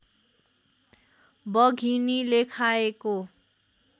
बघिनीले खाएको